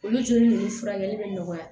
Olu joli ninnu furakɛli bɛ nɔgɔya